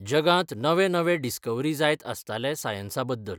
जगांत नवे नवे डिस्कवरी जायत आसताले सायन्सा बद्दल.